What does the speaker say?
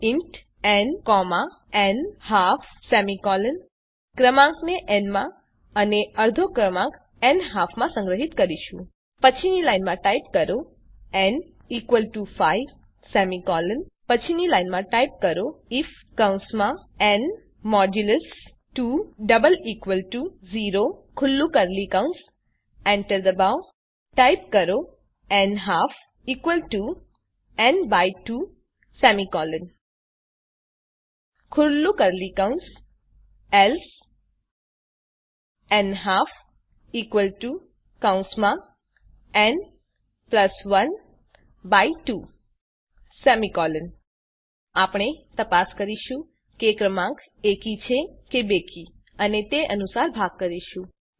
જુઓ main method અંદર type કરો ઇન્ટ ન ન્હાલ્ફ આપણે ક્રમાંકને ન માં અને અર્ધો ક્રમાંક ન્હાલ્ફ માં સંગ્રહીત કરીશું પછીની લાઈનમાં ટાઈપ કરો ન 5 પછીની લાઈનમાં ટાઈપ કરો આઇએફ ન 2 0 એન્ટર દબાવો ટાઈપ કરો n half n 2 else n half n 1 2 આપણે તપાસ કરીશું કે ક્રમાંક એકી છે કે બેકી અને એ અનુસાર ભાગ કરીશું